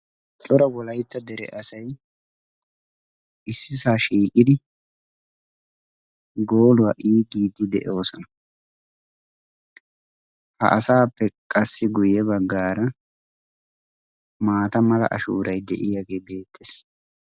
Cora wolaytta dere asay issisa shiiqidi gooluwaa igidi de'esona. Ha asappe qassi guye baggaara maataamala ashuuray deiyage beetees.